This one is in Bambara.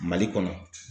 Mali kɔnɔ